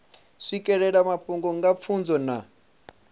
swikelela mafhungo nga pfunzo na